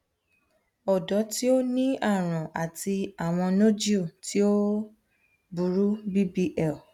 ọdọ ti o ni arun ati awọn nodule ti o o buru bbl